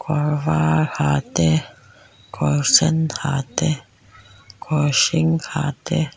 kawr var ha te kawr sen ha te kawr hring ha te--